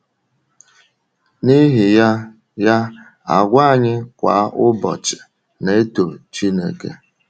N’ihi ya, ya, àgwà anyị kwa ụbọchị na-eto Chínèké.